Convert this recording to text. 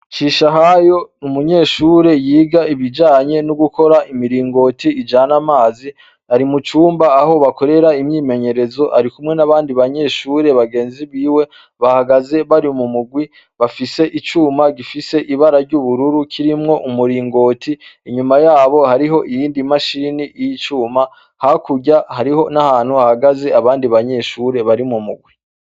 Cisha hayo umunyeshure yiga ibijanye n'ugukora imiringoti ijane amazi ari mucumba aho bakorera imyimenyerezo ari kumwe n'abandi banyeshure bagenzi biwe bahagaze bari mu mugwi bafise icuma gifise ibara ry'ubururu kirimwo umuringoti inyuma yabo hariho iyindi mashia rini iyo icuma hakurya hariho n'ahantu hagaze abandi banyeshure bari mu mugwe.